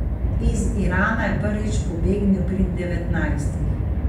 Iz Irana je prvič pobegnil pri devetnajstih.